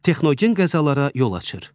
Texnogen qəzalara yol açır.